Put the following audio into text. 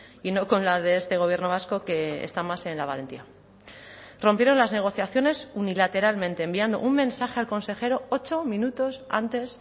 y no con la de este gobierno vasco que está más en la valentía rompieron las negociaciones unilateralmente enviando un mensaje al consejero ocho minutos antes